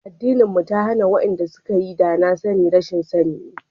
Addinin mu ta hana, wa'yanda suka yi a da ma rashin sani ne.